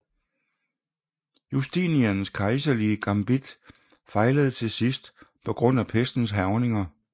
Justinians kejserlige gambit fejlede til sidst på grund af pestens hærgninger